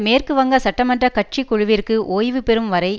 மேற்கு வங்க சட்டமன்ற கட்சி குழுவிற்கு ஓய்வு பெறும் வரை